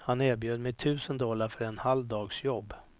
Han erbjöd mig tusen dollar för en halv dags jobb.